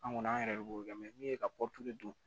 An kɔni an yɛrɛ de b'o kɛ min ye ka don